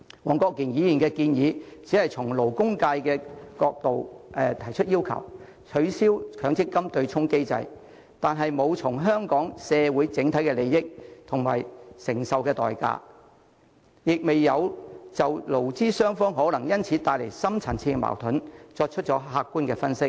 黃國健議員的建議只是從勞工界的角度要求取消強積金對沖機制，但未有考慮香港社會的整體利益及所需承受的代價，亦未有就勞資雙方可能因此而面對的深層次矛盾作出客觀分析。